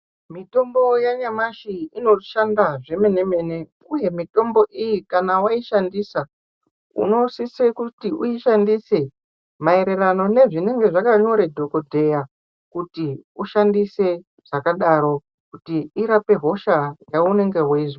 Mitombo yenyamashi inoshanda zvemene-mene uye mitombo iyi kana waishandisa unosise kuti uishandise maererano nezvinenge zvakanyore dhokodheya kuti ushandise zvakadaro, kuti irape hosha yaunenge weizwa.